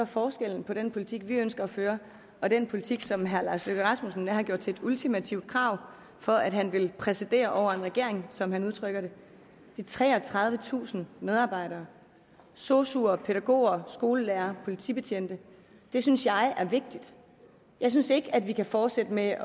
forskellen på den politik vi ønsker at føre og den politik som herre lars løkke rasmussen har gjort til et ultimativt krav for at han vil præsidere over en regering som han udtrykker det de treogtredivetusind medarbejdere sosuer pædagoger skolelærere politibetjente det synes jeg er vigtigt jeg synes ikke de kan fortsætte med